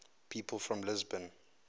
people from lisbon